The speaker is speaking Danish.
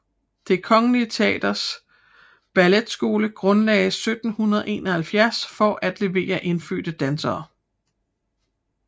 Det Kongelige Teaters Balletskole grundlades 1771 for at levere indfødte dansere